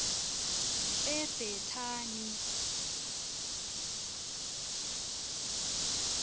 ebhetani